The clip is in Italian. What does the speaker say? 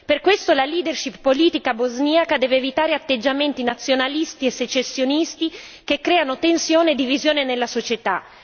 Per questo la leadership politica bosniaca deve evitare atteggiamenti nazionalisti e secessionisti che creano tensione e divisione nella società.